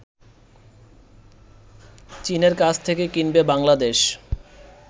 চীনের কাছ থেকে কিনবে বাংলাদেশ